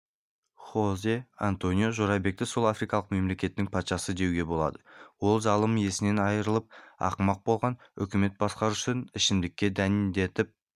хозе-антонио жорабекті сол африкалық мемлекеттің патшасы деуге болады ол залым есінен айрылып ақымақ болған үкімет басқарушысын ішімдікке дәндетіп